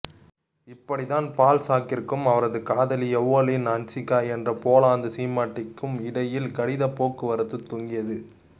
இப்படித்தான் பால்சாக்கிற்கும் அவரது காதலி எவெலினா ஹன்ஸ்கா என்ற போலந்து சீமாட்டிக்கும் இடையில் கடிதப் போக்குவரத்துத் துவங்கியது